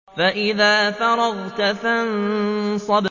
فَإِذَا فَرَغْتَ فَانصَبْ